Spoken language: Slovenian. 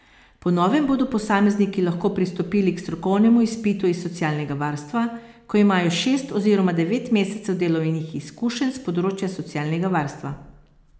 Po novem bodo posamezniki lahko pristopili k strokovnemu izpitu iz socialnega varstva, ko imajo šest oziroma devet mesecev delovnih izkušenj s področja socialnega varstva.